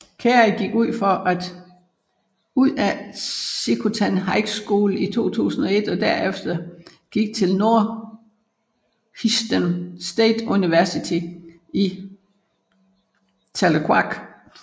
Carrie gik ud af Checotah High School i 2001 og derefter gik til Northeastern State University i Tahlequah